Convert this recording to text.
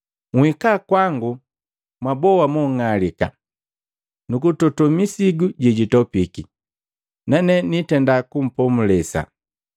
“Nhika kwangu, mwaboa monng'alika nukutope ni misigu jejitopiki, nane nitenda kumpomulesa.